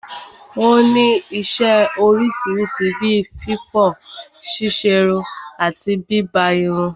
Ó ní isẹ́ oríṣiríṣi bí fífọ̀, ṣíṣerun àti bíbá irun.